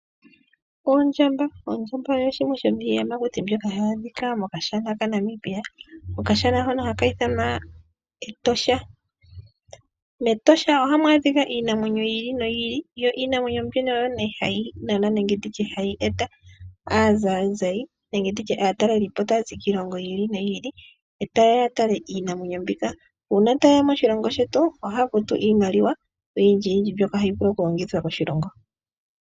Oondjamba oyo yimwe yomiithitukuti mbyoka hayi adhika mokashana kaNamibia, okashona hono haka ithanwa Etosha. mEtosha ohamu adhika iinamwenyo yi ili noyi ili, yo iinamwenyo mbino oyo nee hayi nana nenge hayi eta aazayizayi nenge ndutye aatalelipo taya zi kiilongo yi ili noyi ili, etaye ya ya take iinamwenyo mboka. Uuna tayeya moshilongo shetu ohaya futu iimaliwa oyindjiyindji mbyoka hayi vulu oku longithwa koshilongo.